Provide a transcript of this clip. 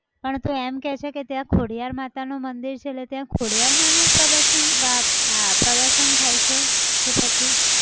પણ તું એમ કહે છે કે ત્યાં ખોડિયાર માતા નું મંદિર છે એટલે ત્યાં ખોડિયાર માનું પ્રદર્શન બા આ પ્રદર્શન થાય છે કે પછી